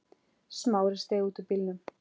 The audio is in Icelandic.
Smári steig út úr bílnum.